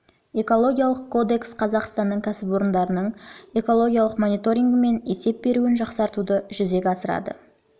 экологиялық кодекс қазақстанның кәсіпорындарының экологиялық мониторингі мен есеп беруін жақсартуды жүзеге асырады